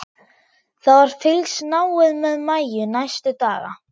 Það var fylgst náið með Maju næstu daga.